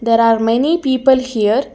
there are many people here.